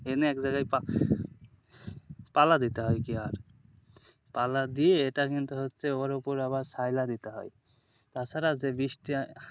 এনে একজায়গায় পা পালা দিতে হয় কি আর পালা দিয়ে এটা কিন্তু হচ্ছে ওর ওপর আবার শায়লা দিতে হয় তাছাড়া যে বৃষ্টি,